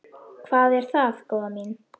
Hvað er það, góða mín?